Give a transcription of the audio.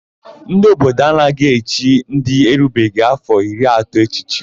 Ndị obodo ya anaghị echi ndị erubeghị áfọ̀ iri atọ echichi.